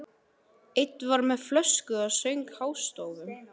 Einn var með flösku og söng hástöfum.